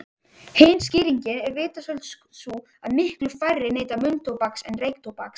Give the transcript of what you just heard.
Hin skýringin er vitaskuld sú að miklu færri neyta munntóbaks en reyktóbaks.